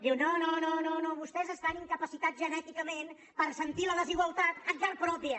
diu no no no vostès estan incapaci·tats genèticament per sentir la desigualtat en carn prò·pia